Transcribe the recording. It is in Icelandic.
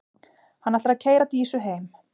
Hann ætlar að keyra Dísu heim.